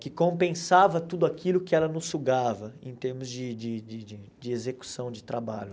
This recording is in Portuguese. que compensava tudo aquilo que ela nos sugava, em termos de de de de execução de trabalho.